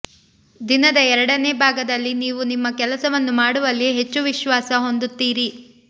ದಿನದ ಎರಡನೇ ಭಾಗದಲ್ಲಿ ನೀವು ನಿಮ್ಮ ಕೆಲಸವನ್ನು ಮಾಡುವಲ್ಲಿ ಹೆಚ್ಚು ವಿಶ್ವಾಸ ಹೊಂದುತ್ತೀರಿ